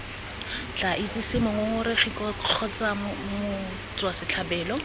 tla itsise mongongoregi kgotsa motswasetlhabelo